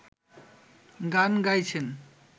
গান গাইছেন